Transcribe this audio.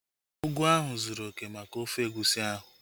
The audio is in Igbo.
Ugu ahụ zụrụ oké maka ofe egusi ahu